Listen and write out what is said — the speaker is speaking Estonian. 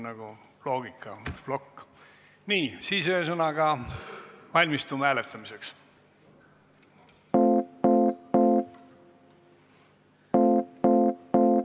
Ühesõnaga, valmistume hääletamiseks.